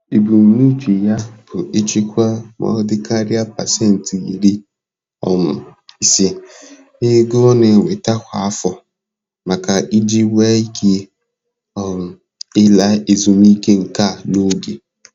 Ebumnuche ya bụ ichekwa ma ọ dịkarịa pasentị iri um ise na-ego ọ na-enweta kwa afọ, maka iji nwee ike um ịla ezumike nka n'oge.